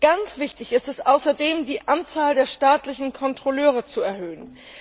Ganz wichtig ist es außerdem, die Anzahl der staatlichen Kontrolleure zu erhöhen.